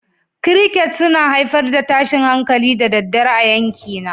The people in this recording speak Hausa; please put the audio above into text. Crickets suna haifar da tashin hankali da daddare a yankina